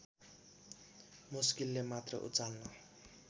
मुस्किलले मात्र उचाल्न